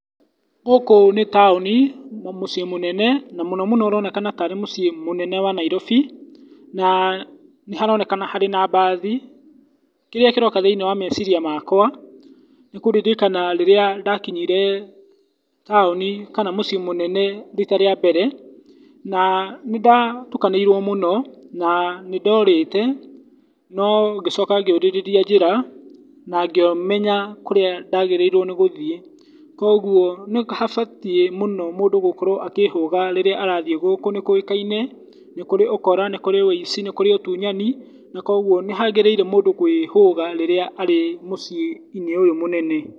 Gũkũ nĩ taũni, mũciĩ mũnene, na mũno mũno ũroneka tarĩ mũciĩ mũnene wa Nairobi, na nĩ haronekana harĩ na mbathi. Kĩrĩa kĩroa thĩiniĩ wa meciria makwa nĩ kũririkanĩ rĩrĩa ndakinyire taũni e kana mũciĩ mũnene rita rĩa mbere, na nĩ ndatukanĩirwo mũno na nĩ ndorĩte, no ngĩcoka ngĩũrĩrĩria njĩra, na ngicoka ngĩmenya kũrĩa ndagĩrĩirwo nĩ gũthiĩ. Kogwo nĩ habatiĩ mũno mũndĩ gũkorwo akĩhũga rĩrĩa mũndũ arathiĩ gũkũ. Nĩ kũĩkaine nĩ kũrĩ ũkora, nĩ kũrĩ ũici, nĩ kũrĩ ũtunyani kogwo nĩ hagĩrĩire mũndũ kwĩhũga rĩrĩa arĩ mũciĩ -inĩ ũyũ mũnene.